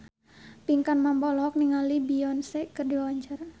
Pinkan Mambo olohok ningali Beyonce keur diwawancara